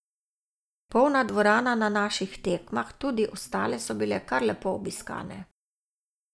Polna dvorana na naših tekmah, tudi ostale so bile kar lepo obiskane.